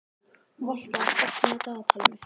Valka, opnaðu dagatalið mitt.